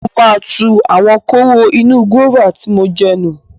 Mo máa tu àwọn kóró inú gúáfà tí mò ń jẹ nù.